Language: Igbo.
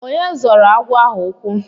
Onye zọrọ agwọ ahụ ukwu?